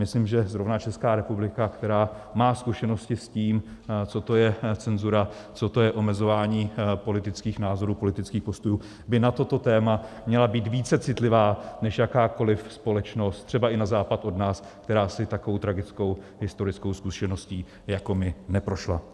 Myslím, že zrovna Česká republika, která má zkušenosti s tím, co to je cenzura, co to je omezování politických názorů, politických postojů, by na toto téma měla být více citlivá než jakákoliv společnost třeba i na západ od nás, která si takovou tragickou historickou zkušeností jako my neprošla.